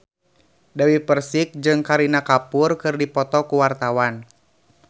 Dewi Persik jeung Kareena Kapoor keur dipoto ku wartawan